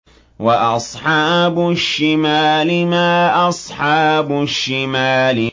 وَأَصْحَابُ الشِّمَالِ مَا أَصْحَابُ الشِّمَالِ